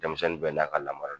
Denmisɛnnin bɛ n'a ka lamara de don